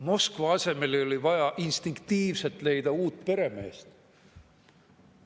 Moskva asemele oli vaja instinktiivselt leida uut peremeest.